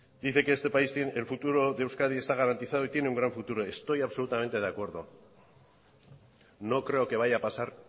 dice que este país tiene el futuro de euskadi está garantizado y tiene un gran futuro estoy absolutamente de acuerdo no creo que vaya a pasar